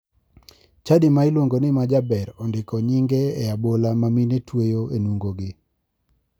Chadi ma iluongo ni majaber ondiko nyinge e abola ma mine tweyo e nungogi.